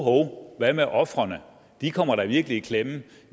hvad med ofrene de kommer da virkelig i klemme